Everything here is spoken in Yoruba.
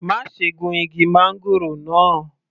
Má ṣe gun igi máńgòrò náà.